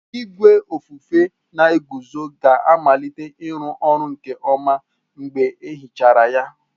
Igwe ofufe na-eguzo ga-amalite ịrụ ọrụ nke ọma mgbe e hichara ya.